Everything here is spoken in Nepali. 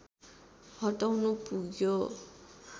हटाउनु पुग्यो